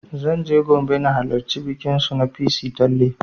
Zan je Gombe don na halarci bikin su na ''Pissi tanle''